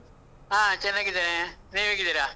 ಹಾ, ಚೆನ್ನಾಗಿದ್ದೇನೆ. ನೀವ್ ಹೇಗಿದ್ದೀರಾ?